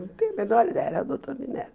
Não tenho a menor ideia, era o doutor Minerva.